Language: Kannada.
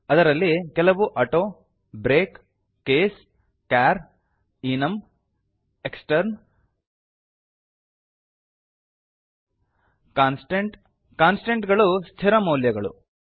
ಅದರಲ್ಲಿ ಕೆಲವು auto break case char enum extern ಕಾನ್ಸ್ಟಂಟ್160 ಕಾನ್ಸ್ಟಂಟ್ ಗಳು ಸ್ಥಿರ ಮೌಲ್ಯಗಳು